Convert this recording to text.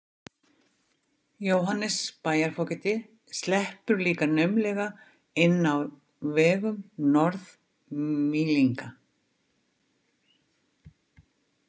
Jóhannes bæjarfógeti sleppur líka naumlega inn á vegum Norð- Mýlinga.